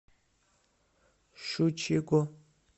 щучьего